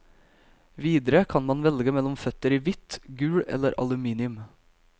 Videre kan man velge mellom føtter i hvitt, gull eller aluminium.